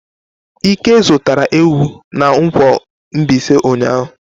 Ike zụtara ewu na nkwo Mbaise ụnyahụ.